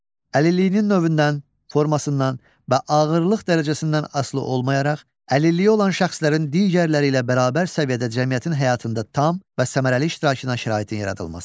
Əlilliyinin növündən, formasından və ağırlıq dərəcəsindən asılı olmayaraq, əlilliyi olan şəxslərin digərləri ilə bərabər səviyyədə cəmiyyətin həyatında tam və səmərəli iştirakına şəraitin yaradılması.